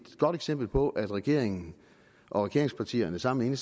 godt eksempel på at regeringen og regeringspartierne sammen med